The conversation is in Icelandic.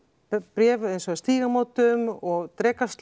bréf eins og hjá Stígamótum og